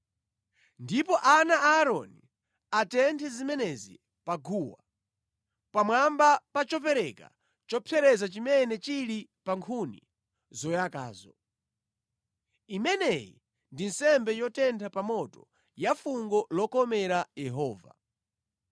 Ndipo ana a Aaroni atenthe zimenezi pa guwa, pamwamba pa chopereka chopsereza chimene chili pa nkhuni zoyakazo. Imeneyi ndi nsembe yotentha pa moto, ya fungo lokomera Yehova.